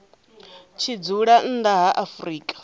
tshi dzula nnḓa ha afrika